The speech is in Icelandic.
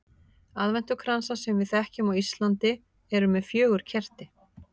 Aðventukransar sem við þekkjum á Íslandi eru með fjögur kerti.